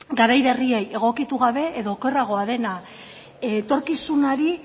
garai berriei egokitu gabe edo okerragoa dena etorkizunari